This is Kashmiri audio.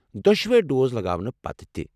دۄشوے ڈوز لگاونہٕ پتہٕ تہِ؟